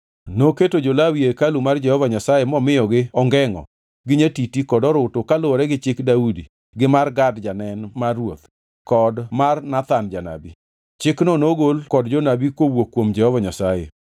Noketo jo-Lawi e hekalu mar Jehova Nyasaye momiyogi ongengʼo, gi nyatiti kod orutu kaluwore gi chik Daudi gi mar Gad janen mar ruoth kod mar Nathan janabi. Chikni nogol kod jonabi kowuok kuom Jehova Nyasaye.